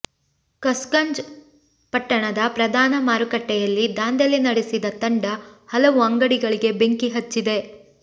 ಕಸ್ಗಂಜ್ ಪಟ್ಟಣದ ಪ್ರಧಾನ ಮಾರುಕಟ್ಟೆಯಲ್ಲಿ ದಾಂಧಲೆ ನಡೆಸಿದ ತಂಡ ಹಲವು ಅಂಗಡಿಗಳಿಗೆ ಬೆಂಕಿಹಚ್ಚಿದೆ